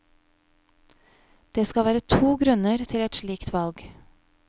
Det skal være to grunner til et slikt valg.